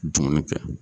Dumuni kɛ